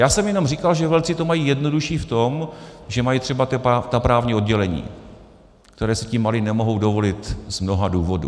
Já jsem jenom říkal, že velcí to mají jednodušší v tom, že mají třeba ta právní oddělení, která si ti malí nemohou dovolit z mnoha důvodů.